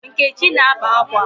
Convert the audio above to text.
Nkechi na-akpa akwa.